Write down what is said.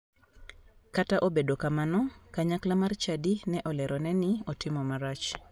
Kata obedo kamano, kanyakla mar chadi ne olerone ni otimo marach.